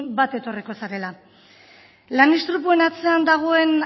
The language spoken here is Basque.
bat etorriko zarela lan istripuen atzean dagoen